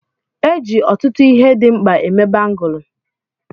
E ji ọtụtụ ihe dị mkpa eme Bangụlu.